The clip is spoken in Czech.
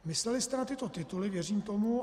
Mysleli jste na tyto tituly, věřím tomu.